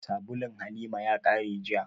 Sabulun Halima ya ƙare jiya